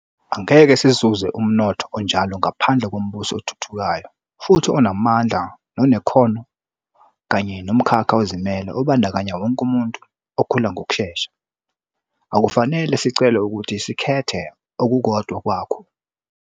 Angeke sizuze umnotho onjalo ngaphandle kombuso othuthukayo futhi onamandla nonekhono kanye nomkhakha ozimele obandakanya wonke umuntu, okhula ngokushesha. Akufanele sicelwe ukuthi sikhethe okukodwa kwakho.